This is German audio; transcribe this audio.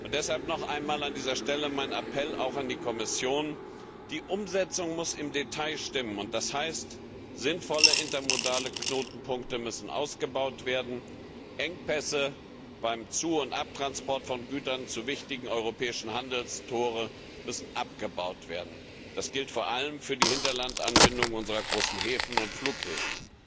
Deshalb an dieser Stelle noch einmal mein Appell auch an die Kommission Die Umsetzung muss im Detail stimmen, und das heißt, sinnvolle intermodale Knotenpunkte müssen ausgebaut werden, Engpässe beim Zu und Abtransport von Gütern zu wichtigen europäischen Handelstoren müssen abgebaut werden. Das gilt vor allem für die Hinterlandanbindung unserer großen Häfen und Flughäfen.